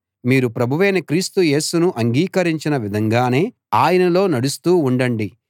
మీరు ప్రభువైన క్రీస్తు యేసును అంగీకరించిన విధంగానే ఆయనలో నడుస్తూ ఉండండి